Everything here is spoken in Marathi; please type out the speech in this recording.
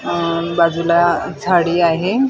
उम्म बाजूला झाडी आहे .